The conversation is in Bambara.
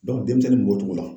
denmisɛnnin kun b'o cogo la.